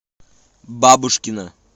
бабушкина